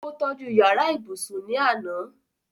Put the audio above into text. ó tọ́ju yàrá ibùsùn ní àná